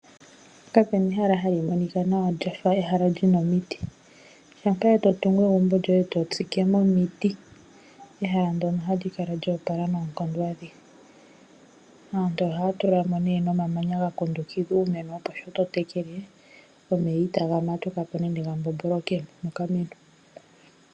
Kapena ehala hali monika nawa lyafa ehala lyina omiti, shampa to tungu egumbo lyoye e to tsike mo omiti, ehala ndoka ohali kala lya opala noonkondo adhihe. Aantu ohaya tula mo nee nomamanya ga kundukidha uumeno, opo sho to tekele omeya itaga matuka po nenge ga mbombolokemo mokameno.